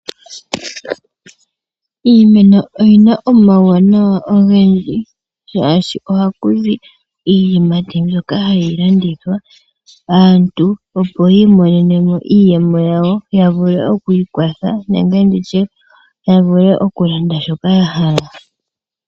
Iimeno oyina omauwanawa ogendji ngashi ohaku zi iiyimati mbyoka hayi landithwa aantu opo yimonene mo iiyemo ya zule okwiikwatha nenge nditye ya vule okuninga shoka ya hala.